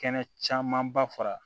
Kɛnɛ camanba fara